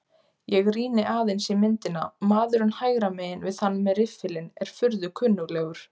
Ég rýni aðeins í myndina, maðurinn hægra megin við þann með riffilinn er furðu kunnuglegur.